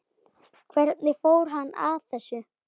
Hvernig fór hann að þessu?